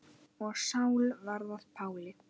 Og Sál varð að Páli.